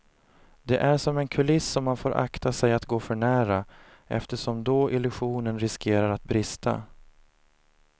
Det är som en kuliss som man får akta sig att gå för nära eftersom då illusionen riskerar att brista.